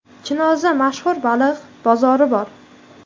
Chinozda mashhur baliq bozori bor.